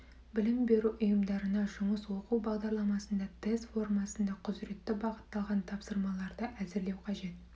білім беру ұйымдарына жұмыс оқу бағдарламасында тест формасында құзыретті бағытталған тапсырмаларды әзірлеу қажет